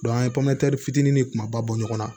an ye pɔmɛri fitinin ni kumaba bɔ ɲɔgɔn na